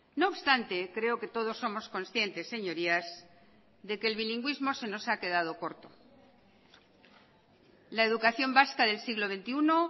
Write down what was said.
no obstante creo que todos somos conscientes señorías de que el bilingüismo se nos ha quedado corto la educación vasca del siglo veintiuno